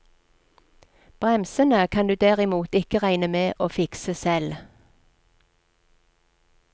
Bremsene kan du derimot ikke regne med å fikse selv.